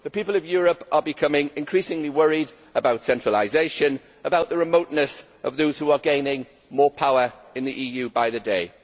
The people of Europe are becoming increasingly worried about centralisation, and about the remoteness of those who are gaining more power in the EU by the day.